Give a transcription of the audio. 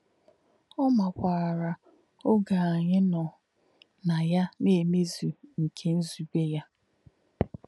Ọ́ mà̄kwà̄rà̄ ọ̀gé̄ ànyí̄ nọ́ nā̄ yá̄ ná mmēzù̄ nké̄ nzùbè̄ yá̄.